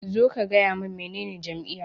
Zo ka gaya min menene jam'iyya.